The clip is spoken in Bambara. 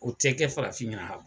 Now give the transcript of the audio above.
O tɛ kɛ farafin ɲɛna